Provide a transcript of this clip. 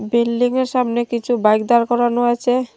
বিল্ডিংয়ের সামনে কিছু বাইক দাঁড় করানো আছে।